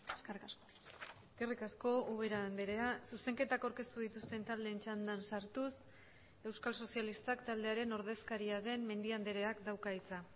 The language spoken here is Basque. eskerrik asko eskerrik asko ubera andrea zuzenketak aurkeztu dituzten taldeen txandan sartuz euskal sozialistak taldearen ordezkaria den mendia andreak dauka hitza